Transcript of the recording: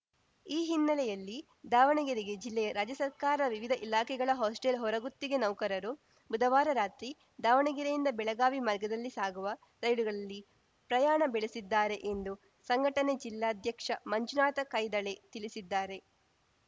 ಈ ಹಿನ್ನೆಲೆಯಲ್ಲಿ ದಾವಣಗೆರೆಗೆ ಜಿಲ್ಲೆಯ ರಾಜ್ಯಸರ್ಕಾರ ವಿವಿಧ ಇಲಾಖೆಗಳ ಹಾಸ್ಟೆಲ್‌ ಹೊರಗುತ್ತಿಗೆ ನೌಕರರು ಬುಧವಾರ ರಾತ್ರಿ ದಾವಣಗೆರೆಯಿಂದ ಬೆಳಗಾವಿ ಮಾರ್ಗದಲ್ಲಿ ಸಾಗುವ ರೈಲುಗಳಲ್ಲಿ ಪ್ರಯಾಣ ಬೆಳೆಸಿದ್ದಾರೆ ಎಂದು ಸಂಘಟನೆ ಜಿಲ್ಲಾಧ್ಯಕ್ಷ ಮಂಜುನಾಥ ಕೈದಾಳೆ ತಿಳಿಸಿದ್ದಾರೆ